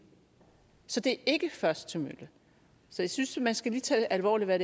så det er ikke først til mølle jeg synes man lige skal tage alvorligt hvad